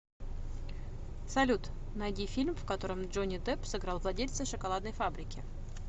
салют найди фильм в котором джонни депп сыграл владельца шоколадной фабрики